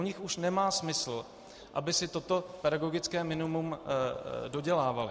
U nich už nemá smysl, aby si toto pedagogické minimum dodělávali.